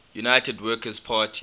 united workers party